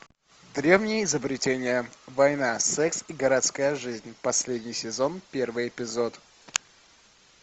древние изобретения война секс и городская жизнь последний сезон первый эпизод